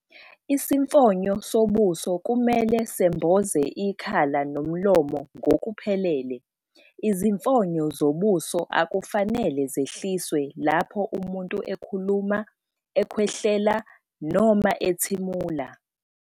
Isifonyo sobuso kumele semboze ikhala nomlomo ngokuphelele. Izifonyo zobuso akufanele zehliswe lapho umuntu ekhuluma, ekhwehlela noma ethimula.